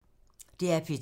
DR P2